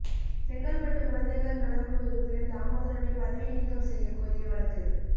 செங்கல்பட்டு குழந்தைகள் நலக்குழு உறுப்பினர் தாமோதரனை பதவி நீக்கம் செய்யக் கோரிய வழக்கு